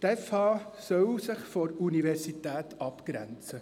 Die BFH solle sich von der Universität abgrenzen.